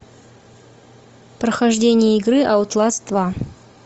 прохождение игры аутласт два